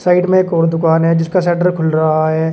Side में एक और दुकान है जिसका शटर खुल रहा है।